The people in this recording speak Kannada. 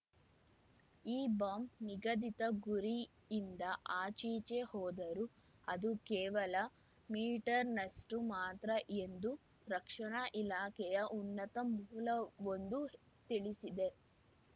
ಈ ಬಾಂಬ್‌ ನಿಗದಿತ ಗುರಿಯಿಂದ ಆಚೀಚೆ ಹೋದರೂ ಅದು ಕೇವಲ ಮೀಟರ್‌ನಷ್ಟುಮಾತ್ರ ಎಂದು ರಕ್ಷಣಾ ಇಲಾಖೆಯ ಉನ್ನತ ಮೂಲವೊಂದು ತಿಳಿಸಿದೆ